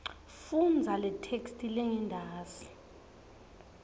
fundza letheksthi lengentasi